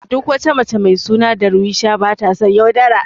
Duk wata mace mai suna Darweesha bata son yaudara.